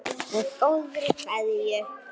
Með góðri kveðju.